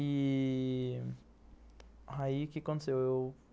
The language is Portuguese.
E aí... aí o que aconteceu?